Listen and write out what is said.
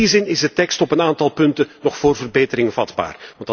In die zin is de tekst op een aantal punten nog voor verbetering vatbaar.